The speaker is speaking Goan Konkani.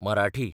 मराठी